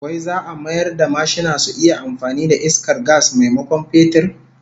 Wai za'a mayar da mashina su iya amfani da iskar gas maimakon fetur?